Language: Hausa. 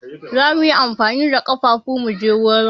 Za mu yi amfani da kafafun mu je wurin.